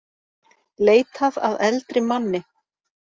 Leitað að eldri manni